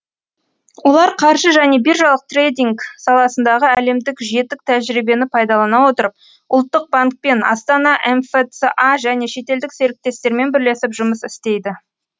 олар қаржы және биржалық трейдинг саласындағы әлемдік жетік тәжірибені пайдалана отырып ұлттық банкпен астана мфца және шетелдік серіктестермен бірлесіп жұмыс істейді